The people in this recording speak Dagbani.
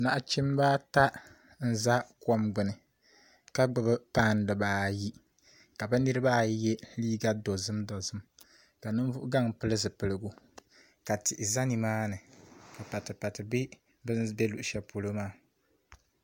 Nachimbi ata n ʒɛ kom gbuni ka gbuni pai dibaayi ka bi niraba ayi yɛ liiga dozim dozim ka ninvuɣu gaŋ pili zipiligu ka tihi ʒɛ nimaani ka pati pati bɛ bi ni bɛ luɣu shɛli polo maa